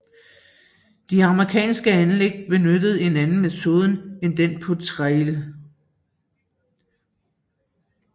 De amerikanske anlæg benyttede en anden metode en den på Trail